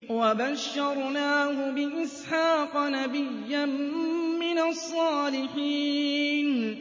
وَبَشَّرْنَاهُ بِإِسْحَاقَ نَبِيًّا مِّنَ الصَّالِحِينَ